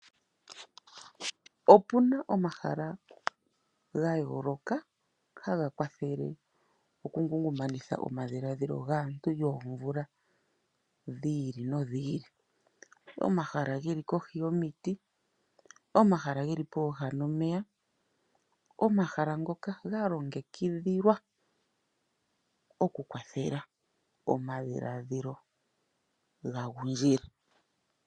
Opuna omahala ga yoloka haga kwathele oku ngumaneka omadhiladhilo gaantu yoomvula dhi ili nodhi ili. Omahala geli kohi yomiti, omahala geli poha nomeya, omahala ngoka ga longekidhilwa oku kwathela omadhiladhilo ga gundjile.